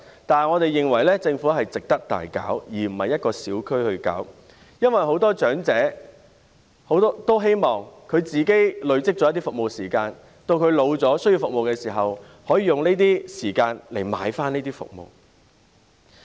但是，我們認為這類計劃值得政府廣泛推行，而不單是在某個小區推行，因為很多長者都希望累積一些服務時間，當他們年老需要服務的時候，可以用這些時間來換這些服務。